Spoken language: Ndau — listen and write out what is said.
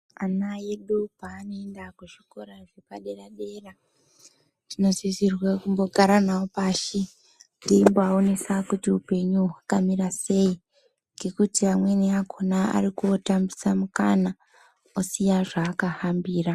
Ana edu paanoenda kuzvikora zvepadera dera tinosisirwe kumbogara navo pashi teimbovaonesa kuti upenyu hwakamira sei ngekuti amweni akona anotambisa mukana osiya zvaakahambira.